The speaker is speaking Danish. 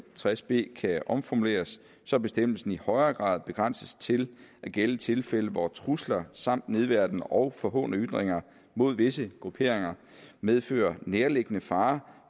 tres b kan omformuleres så bestemmelsen i højere grad begrænses til at gælde tilfælde hvor trusler samt nedværdigende og forhånende ytringer mod visse grupperinger medfører nærliggende fare